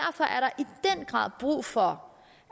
grad brug for